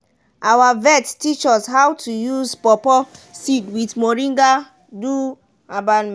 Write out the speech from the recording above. our vet teach us how to use pawpaw seed with moringa do herbal medicine.